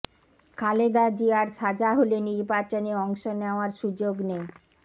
খালেদা জিয়ার সাজা হলে নির্বাচনে অংশ নেওয়ার সুযোগ নেই